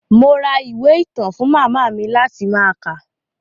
Mo ra ìwé ìtàn fún màmá mi láti máa kà.